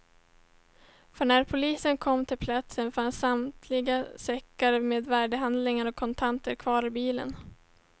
För när polisen kom till platsen fanns samtliga säckar med värdehandlingar och kontanter kvar i bilen.